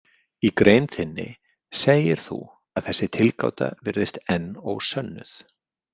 Í grein þinni segir þú að „þessi tilgáta virðist enn ósönnuð“.